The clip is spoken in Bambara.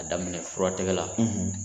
Ka daminɛ furatigɛ la